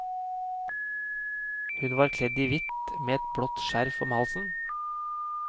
Hun var kledd i hvitt, med et blått skjerf om halsen.